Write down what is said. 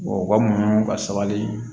u ka munumunu ka sabali